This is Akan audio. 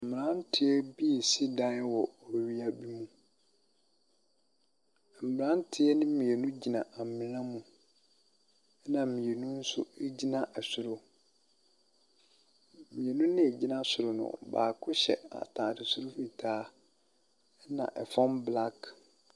Mmranteɛ bi si dan wɔ owia bi mu. Mmranteɛ no mmienu gyina amuna mu. Ɛna mmienu nso egyina ɛsoro. Mmienu na gyina soro no, baako hyɛ ataade soro fitaa ɛna ɛfam blak.